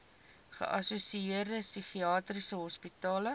geassosieerde psigiatriese hospitale